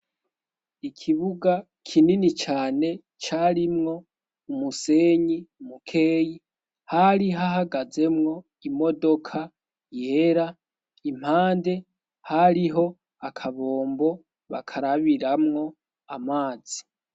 Ikibuga kinini cane carimwo umusenyi umukeyi hari ho ahagazemwo imodoka yera impande hariho akabombo bakarabiramwo amazi.